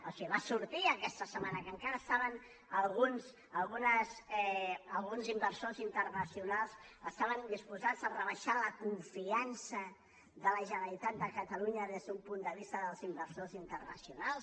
o sigui va sortir aquesta setmana que encara alguns inversors internacionals estaven disposats a rebaixar la confiança de la generalitat de catalunya des d’un punt de vista dels inversors internacionals